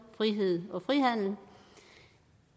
frihed og frihandel